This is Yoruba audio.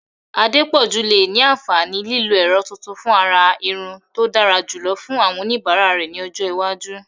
Adepoju lè ní àǹfààní lílo ẹ̀rọ tuntun fún àrà irun tó dára jùlọ fún àwọn oníbàárà rẹ̀ ní ọjọ́ iwájú.